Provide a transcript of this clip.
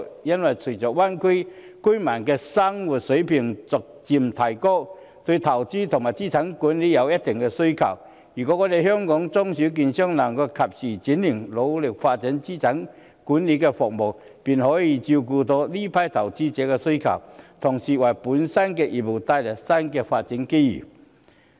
因為隨着大灣區居民的生活水平逐漸提高，對投資和資產管理有一定需求，如果香港的中小券商能夠及時轉型，努力發展資產管理服務，便可以照顧這批投資者的需要，同時，為本身的業務帶來新的發展機遇。